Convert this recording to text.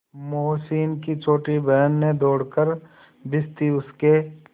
मोहसिन की छोटी बहन ने दौड़कर भिश्ती उसके